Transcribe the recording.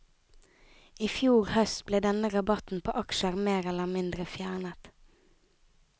I fjor høst ble denne rabatten på aksjer mer eller mindre fjernet.